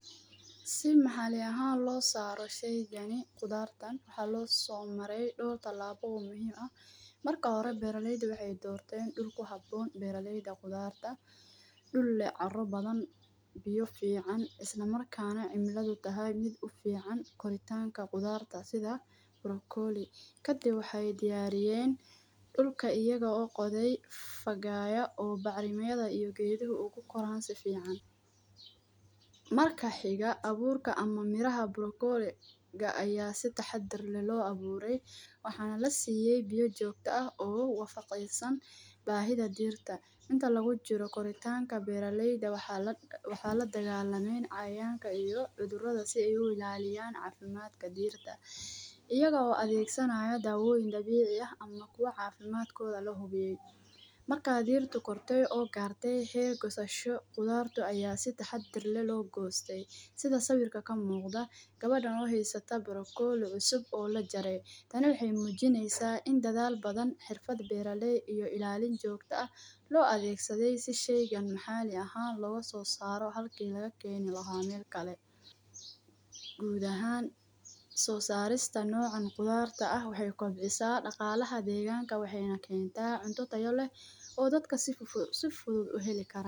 Si maxalli ahaan loo saaro sheygani khudaartan waxaa loo soo maray dhowr tillabo oo muhiim ah .Marka hore beralayda waxeey doorteen dhul ku habbboon beralayda khudaarta dhul leh carro badan, biyo fiican, isla markaana cimiladu tahay mid u fiican koritaanka khudaarta sida ;baroccoli kadib waxeey diyariyeen dhulka ayaga oo qoday fagaaya oo bacrimiyada iyo geeduhu uu ku koraan si fiican . Marka xiga abuurka ama miraha boroccoli ga ayaa si taxaddar leh loo abuuray ,waxaana la siiyay biya joogta ah oo u wafaqeysan baahida dhirta . Inta lagu jiro koritaanka, beeralayda waxaa la dagallameen cayayanka iyo cudurrada si ay u ilaaliyaan cafimaadka dhirta ,iyagoo adeegsanaayo daawoyin dabici ah ama kuwa cafimadkooda la hubiyay. Marka dhirtu kortay oo gaartay heer goosasho khudaartu ayaa si taxaddar leh loo goostay. Sida sawirka ka muuqda gawadhan oo heysta boroccoli cusub oo la jaray ,tani waxeey muujineysaa in dadaal badan, xirfad beeraleey iyo ilaalin joogta ah loo adeegsaday si sheygan maxalli ahaan looga soo saaro halki laga keeni lahaa meel kale . Guud ahaan soosarista noocan khudaarta ah waxeey kobcisaa dhaqaalaha deeganka waxeyna kentaa cunto taya leh oo dadka si fudud u heli karaan .